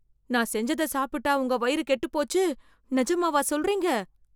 நான் செஞ்சத சாப்பிட்டா உங்க வயிறு கெட்டு போச்சு? நிஜமாவா சொல்றீங்க?